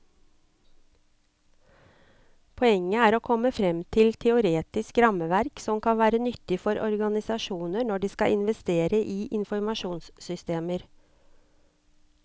Poenget er å komme frem til et teoretisk rammeverk som kan være nyttig for organisasjoner når de skal investere i informasjonssystemer.